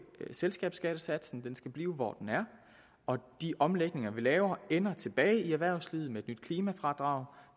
selskabsskattesatsen den skal blive hvor den er og de omlægninger vi laver ender tilbage i erhvervslivet med et nyt klimafradrag